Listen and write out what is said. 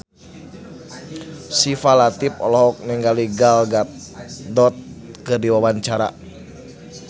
Syifa Latief olohok ningali Gal Gadot keur diwawancara